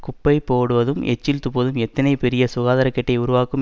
குப்பை பேடுவதும் எச்சில் துப்புவதும் எத்தனை பெரிய சுகாதாரக்கேட்டை உருவாக்கும்